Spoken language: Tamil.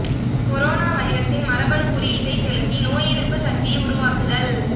கொரோனா வைரஸின் மரபணு குறியீட்டை செலுத்தி நோய் எதிர்ப்பு சக்தி உருவாக்குதல்